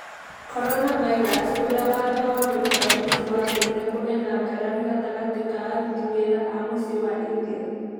Corona virus: ũrĩa watho wa gũikara mũciĩ watũmire kũgĩe na ngarari gatagatĩ ka aruti wĩra a mũciĩ wa India